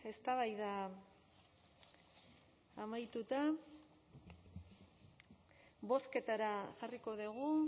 eztabaida amaituta bozketara jarriko dugu